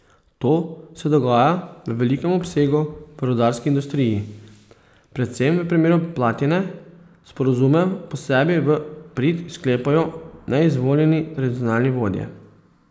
To se dogaja v velikem obsegu v rudarski industriji, predvsem v primeru platine, sporazume pa sebi v prid sklepajo neizvoljeni tradicionalni vodje.